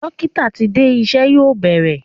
Dókítà ti dé, iṣẹ́ yóò bẹ̀rẹ̀.